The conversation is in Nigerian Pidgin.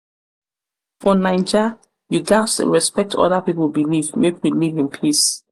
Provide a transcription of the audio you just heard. naija you gats respect oda pipo belief make we live in peace.